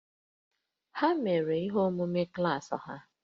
Ha mere ihe omume klaasị ha